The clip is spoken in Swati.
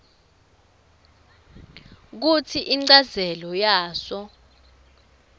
kutsi inchazelo yaso